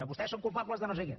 vostès són culpables de no sé què